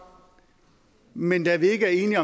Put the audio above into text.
men da vi ikke er enige